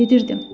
Gedirdim.